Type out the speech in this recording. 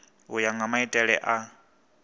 u ya nga maitele a